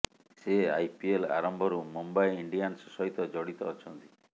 ସେ ଆଇପିଏଲ ଆରମ୍ଭରୁ ମୁମ୍ବାଇ ଇଣ୍ଡିଆନ୍ସ ସହିତ ଜଡିତ ଅଛନ୍ତି